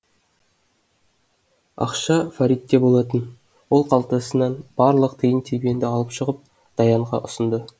ақша фаритте болатын ол қалтасынан барлық тиын тебенді алып шығып даянға ұсынды